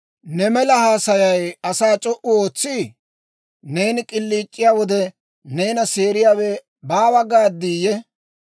Ne mela haasayay asaa c'o"u ootsii? Neeni k'iliic'iyaa wode, neena seeriyaawe baawa gaaddiyye?